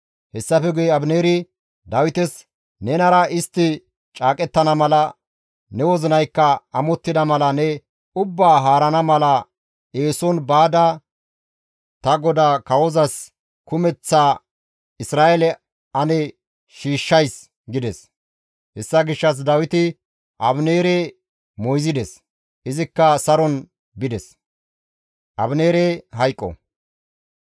Hessafe guye Abineeri Dawites, «Nenara istti caaqettana mala, ne wozinaykka amottida mala ne ubbaa haarana mala eeson baada ta godaa kawozas kumeththa Isra7eele ane shiishshays» gides. Hessa gishshas Dawiti Abineere moyzides; izikka saron bides.